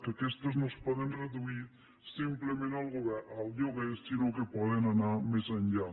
que aquestes no es poden reduir simplement al lloguer sinó que poden anar més enllà